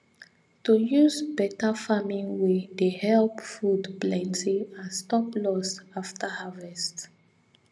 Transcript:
to use better farming way dey help food plenty and stop loss after harvest